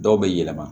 Dɔw bɛ yɛlɛma